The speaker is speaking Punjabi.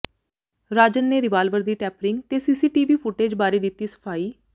ਰਾਜਨ ਨੇ ਰਿਵਾਲਵਰ ਦੀ ਟੈਂਪਰਿੰਗ ਤੇ ਸੀਸੀਟੀਵੀ ਫੁਟੇਜ ਬਾਰੇ ਦਿੱਤੀ ਸਫ਼ਾਈ